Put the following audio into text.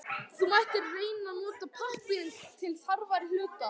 Þú mættir reyna að nota pappírinn til þarfari hluta.